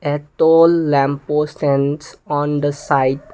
A tall lamp stands and on the side.